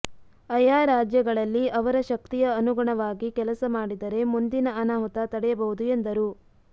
ಅಯಾ ರಾಜ್ಯಗಳಲ್ಲಿ ಅವರ ಶಕ್ತಿಯ ಅನುಗುಣವಾಗಿ ಕೆಲಸ ಮಾಡಿದರೆ ಮುಂದಿನ ಅನಾಹುತ ತಡೆಯಬಹುದು ಎಂದರು